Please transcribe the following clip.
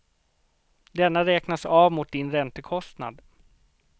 Denna räknas av mot din räntekostnad.